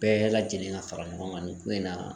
Bɛɛ lajɛlen ka fara ɲɔgɔn ŋa nin ko in na